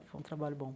Foi um trabalho bom.